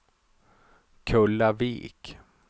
Kullavik